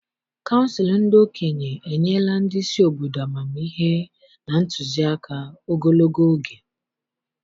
Kansụl ndị okenye enyela ndị isi obodo amamihe na ntụzịaka ogologo oge.